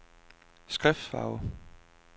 skriftfarve